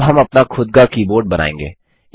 अब हम अपना खुद का कीबोर्ड बनाएँगे